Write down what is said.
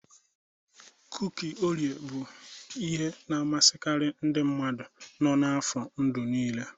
Kuki Oreo bụ ihe na-amasịkarị ndị mmadụ nọ n'afọ ndụ niile.